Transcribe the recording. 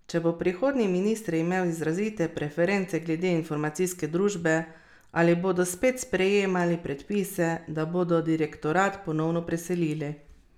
Če bo prihodnji minister imel izrazite preference glede informacijske družbe, ali bodo spet sprejemali predpise, da bodo direktorat ponovno preselili?